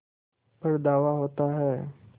पर धावा होता है